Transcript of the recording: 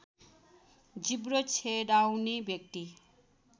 जिब्रो छेडाउने व्यक्ति